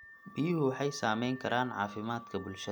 Biyuhu waxay saamayn karaan caafimaadka bulshada.